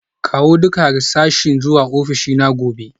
Kawo duka harsashi zuwa ofishina gobe